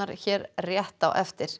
hér rétt á eftir